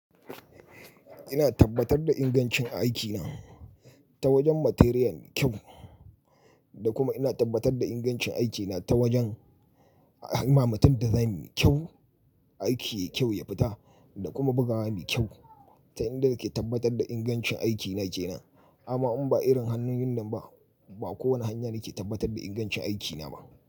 Ina tabbatar da ingancin aikina ta wajen materiyan kyau, da kuma ina tabbatar da ingancin aikina ta wajen himamatun da zai mi kyau, aiki kyau ya fita, da kuma bugawa mi kyau. Ta inda nake tabbatar da ingancin aikina kenan. Amma in ba irin hannun wannan ba, ba kowane hanya ke tabbatar da ingancin aikina ba.